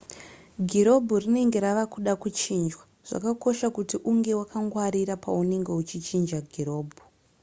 girobhu rinenge rava kuda kuchinjwa zvakakosha kuti unge wakangwarira paunenge uchichinja girobhu